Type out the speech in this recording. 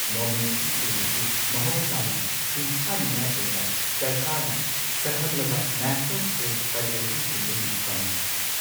ꯅꯣꯃꯤꯅꯦꯁꯟꯁꯤꯡ ꯑꯁꯤ ꯃꯍꯧꯁꯥꯅ ꯁꯤꯡꯊꯥꯅꯤꯡꯉꯥꯏ ꯑꯣꯏꯕ ꯁꯔꯀꯥꯔꯅ ꯁꯛꯈꯪꯂꯕ ꯅꯦꯁꯅꯦꯜ ꯁ꯭ꯄꯣꯔꯠꯁ ꯐꯦꯗꯔꯦꯁꯟꯁꯤꯡꯗꯒꯤ ꯐꯪꯏ꯫